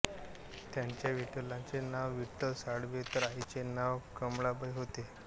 त्यांच्या वडिलांचे नाव विठ्ठल साळवे तर आईचे नाव कमळाबाई होते